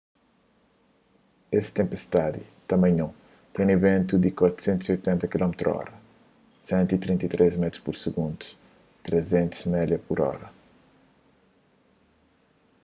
es tenpistadi tamanhon ten bentu di ti 480 km/h 133 m/s; 300 mph